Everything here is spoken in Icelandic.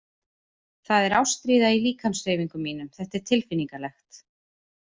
Það er ástríða í líkamshreyfingum mínum- þetta er tilfinningalegt.